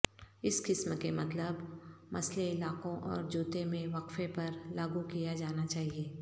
اس قسم کے مطلب مسئلہ علاقوں اور جوتے میں وقفے پر لاگو کیا جانا چاہئے